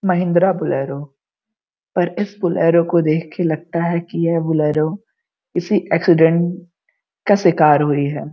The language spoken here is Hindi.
महिंद्रा बोलेरो पर इस बोलेरो को देखके लगता है कि यह बोलेरो किसी एक्सीडेंट का शिकार हुई हैं।